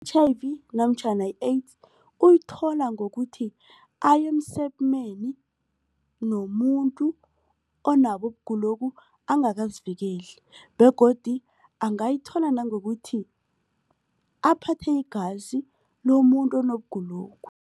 I-H_I_V namtjhana i-AIDS uyithola ngokuthi aya emsemeni nomuntu onabo ukugulokhu angakazivikeli begodu angayithola nangokuthi aphathe igazi lomuntu onokugulokhu.